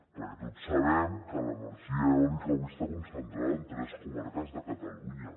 perquè tots sabem que l’energia eòlica avui està concentrada en tres comarques de catalunya